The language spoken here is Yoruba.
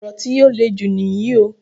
Orò tí o lè jù níyì o.